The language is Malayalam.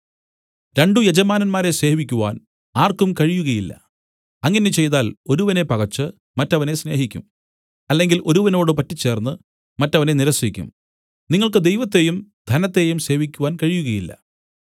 രണ്ടു യജമാനന്മാരെ സേവിക്കുവാൻ ആർക്കും കഴിയുകയില്ല അങ്ങനെ ചെയ്താൽ ഒരുവനെ പകച്ച് മറ്റവനെ സ്നേഹിക്കും അല്ലെങ്കിൽ ഒരുവനോട് പറ്റിച്ചേർന്നു മറ്റവനെ നിരസിക്കും നിങ്ങൾക്ക് ദൈവത്തെയും ധനത്തെയും സേവിക്കുവാൻ കഴിയുകയില്ല